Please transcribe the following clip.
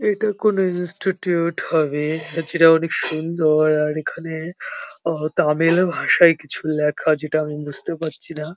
এটা কোনো ইনস্টিটিউট হবে-এ যেটা অনেক সুন্দর আর এখানে আ তামিল ভাষায় কিছু লেখা যেটা আমি বুঝতে পারছিনা ।